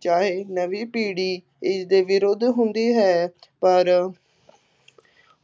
ਚਾਹੇ ਨਵੀਂ ਪੀੜ੍ਹੀ ਇਸ ਦੇ ਵਿਰੁੱਧ ਹੁੰਦੀ ਹੈ ਪਰ